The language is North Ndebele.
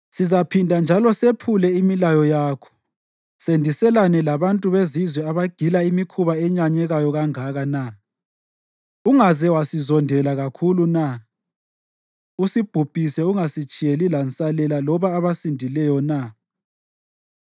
Sizaphinda njalo sephule imilayo yakho sendiselane labantu bezizwe abagila imikhuba eyenyanyekayo kangaka na? Ungaze wasizondela kakhulu na usibhubhise ungasitshiyeli lansalela loba abasindileyo na?